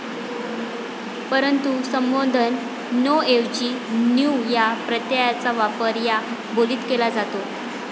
परंतु संबोधन ''नो' ऐवजी 'न्यू' या प्रत्ययाचा वापर या बोलीत केला जातो.